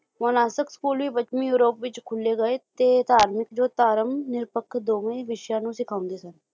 ਮੋਨਾਸਕ school ਵੀ ਪੱਛਮੀ Europe ਵਿੱਚ ਖੁੱਲ੍ਹੇ ਗਏ ਤੇ ਧਾਰਮਿਕ ਜੋਧਾਰਮ ਅਤੇ ਨਿਰਪੱਖ ਦੋਵੇਂ ਵਿਸ਼ਿਆਂ ਨੂੰ ਸਿਖਾਉਂਦੇ ਸਨ